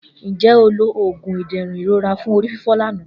Nje o lo oogun iderun irora fun orififo lana